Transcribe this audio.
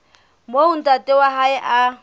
moo ntate wa hae a